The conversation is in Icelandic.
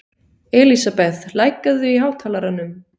Elísabeth, lækkaðu í hátalaranum.